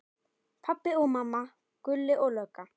Pabbi og mamma, Gulli lögga.